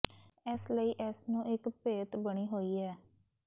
ਇਸ ਲਈ ਇਸ ਨੂੰ ਇੱਕ ਭੇਤ ਬਣੀ ਹੋਈ ਹੈ